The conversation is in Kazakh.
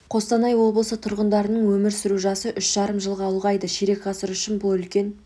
қостанай облысы тұрғындарының өмір сүру жасы үш жарым жылға ұлғайды ширек ғасыр үшін бұл үлкен